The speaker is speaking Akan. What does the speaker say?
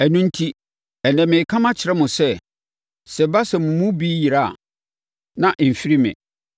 Ɛno enti, ɛnnɛ, mereka makyerɛ mo sɛ, sɛ ɛba sɛ mo mu bi yera a, na ɛmfiri me.